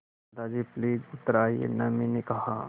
दादाजी प्लीज़ उतर आइये न मैंने कहा